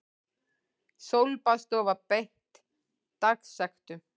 Sólbaðsstofa beitt dagsektum